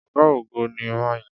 Ọ̀gá-ogo ni ma yìn.